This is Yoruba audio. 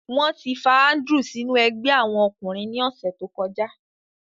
Wọn ti fa Andrew sinu ẹgbẹ awọn ọkunrin ni ọsẹ to kọja.